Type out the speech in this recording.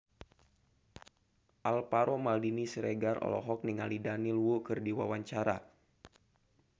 Alvaro Maldini Siregar olohok ningali Daniel Wu keur diwawancara